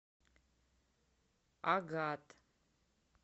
агат